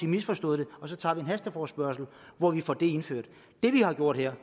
misforstået det og så tager vi en hasteforespørgsel hvor vi får det indført det vi har gjort her